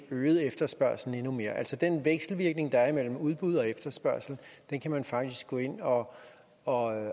øget efterspørgslen endnu mere altså den vekselvirkning der er imellem udbud og efterspørgsel kan man faktisk gå ind og og